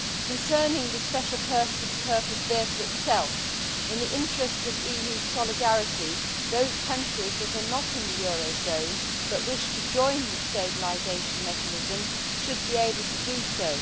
Concerning the Special Purpose Vehicle itself, in the interests of EU solidarity, those countries that are not in the eurozone but wish to join the Stabilisation Mechanism should be able to do so.